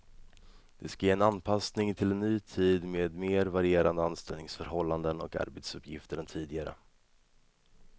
Det ska ge en anpassning till en ny tid med mer varierande anställningsförhållanden och arbetsuppgifter än tidigare.